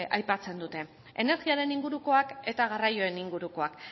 aipatzen dute energiaren ingurukoak eta garraioen ingurukoak